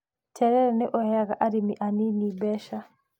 Terere nĩ ũheaga arĩmi anini mbeca.